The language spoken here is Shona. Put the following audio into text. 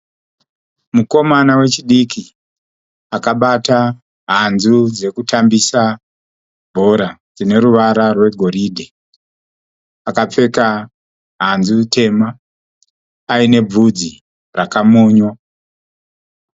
Mukomana wechidiki akabata hanzu dzekutambisa bhora dzine ruvara rwegoridhe. Akapfeka hanzu tema aine bvudzi rakamonywa.